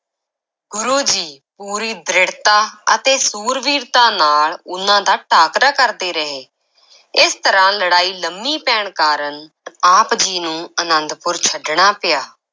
ਗੁਰੂ ਜੀ ਪੂਰੀ ਦ੍ਰਿੜਤਾ ਅਤੇ ਸੂਰਬੀਰਤਾ ਨਾਲ ਉਨ੍ਹਾਂ ਦਾ ਟਾਕਰਾ ਕਰਦੇ ਰਹੇ, ਇਸ ਤਰ੍ਹਾਂ ਲੜਾਈ ਲੰਮੀ ਪੈਣ ਕਾਰਨ ਆਪ ਜੀ ਨੂੰ ਆਨੰਦਪੁਰ ਛੱਡਣਾ ਪਿਆ।